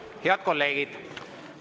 Head kolleegid!